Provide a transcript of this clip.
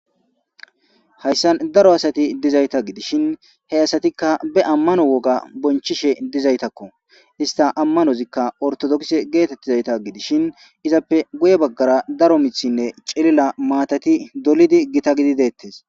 Hayssan daro asati dizayta gidishin he asatikka be ammano woga bonchishe dizaytakko ista ammanozikka ortodokse geetettizayta gidishin izappe goye baggara daro mithinne celila maatati dolidi gita gidi deettes.